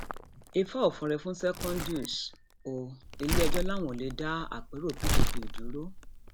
ifá ò fọre fún secondus o iléẹjọ làwọn ò lè dá àpérò pdp dúró